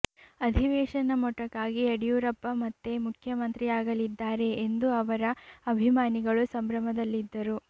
ಅಧಿವೇಶನ ಮೊಟಕಾಗಿ ಯಡಿಯೂರಪ್ಪ ಮತ್ತೆ ಮುಖ್ಯ ಮಂತ್ರಿಯಾಗಲಿದ್ದಾರೆ ಎಂದು ಅವರ ಅಭಿಮಾನಿಗಳು ಸಂಭ್ರಮದಲ್ಲಿದ್ದರು